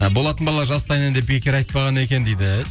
болатын бала жастайынан деп бекер айтпаған екен дейді